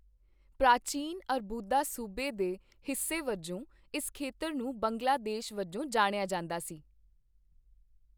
ਪ੍ਰਾਚੀਨ ਅਰਬੂਦਾ ਸੂਬੇ ਦੇ ਹਿੱਸੇ ਵਜੋਂ ਇਸ ਖੇਤਰ ਨੂੰ ਬੰਗਲਾ ਦੇਸ਼ ਵਜੋਂ ਜਾਣਿਆ ਜਾਂਦਾ ਸੀ